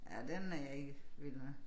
Ja den er jeg ikke vild med